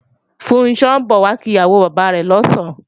Funṣọ́ ń bọ̀ wá kí ìyàwó bàbá rẹ̀ lọ̀sán